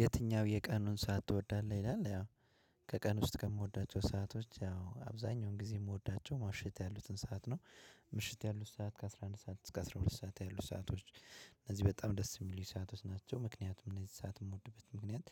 "የትኛው የቀኑን ሰዓት ትወዳለህ?" ይላል። ያው ከቀን ውስጥ ከምወዳቸው ሰአቶች ያው አብዛኛውን ጊዜ የምወዳቸው ምሽት ያሉትን ሰዓት ነው። ምሽት ያሉት ሰዓት ከአስራ አንድ ሰዓት እስከ አስራ ሁለት ሰዓት ያሉት ሰአቶች እነዚህ በጣም ደስ የሚሉኝ ሰአቶች ናቸው። ምክንያቱም እነዚህ ሰዓት የምወድበት ምክንያት